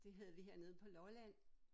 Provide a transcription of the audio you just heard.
Det havde vi hernede på Lolland